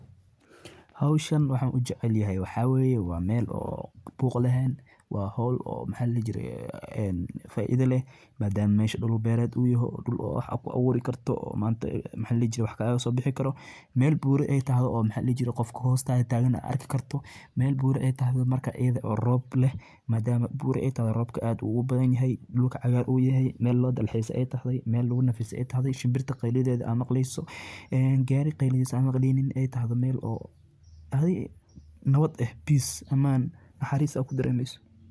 Safarku waa khibrad nolosha ku cusub oo qofka ka qaadaysa meelaha caadiga ah kuna hagi karta meelo lama filaan ah oo qurux badan. Tacaburku waa geeddi-socod qofka ka qaada deegaanka uu ku barbaaray, kuna dhiirrigeliya inuu la kulmo caqabado cusub, barto dhaqammo iyo dad kala duwan, isla markaana kobciyo xirfado cusub oo nolosha ah. Inta lagu guda jiro tacaburka.